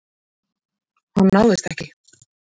Hann náðist ekki.